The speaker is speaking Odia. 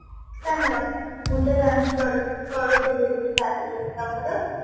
ମୁଁ ତ lunch କରୁ କରୁଥିଲି ଏବେ ସାରିଲି ତମର?